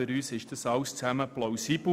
Für uns ist dies alles plausibel.